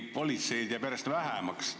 Politseid jääb järjest vähemaks.